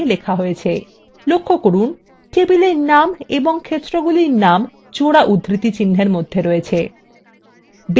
লক্ষ্য করুন table names এবং ক্ষেত্রগুলির names জোড়া উদ্ধৃতিচিহ্নের মধ্যে থাকে